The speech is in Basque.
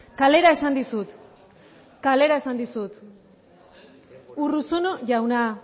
kalera esan dizut kalera esan dizut urruzuno jauna